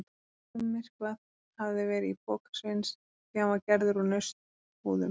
Almyrkvað hafði verið í poka Sveins því hann var gerður úr nautshúðum.